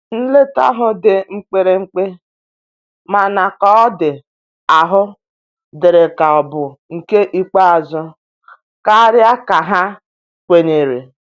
Nleta ahu ndi mkpirikpi, mana ka ọ di ahụ diri ka ọ bụ nke ikpeazu karia ka ha kwenyere.